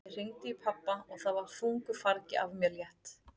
Ég hringdi í pabba og það var þungu fargi af mér létt.